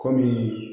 Kɔmi